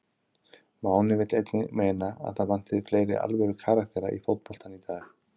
Máni vill einnig meina að það vanti fleiri alvöru karaktera í fótboltann í dag.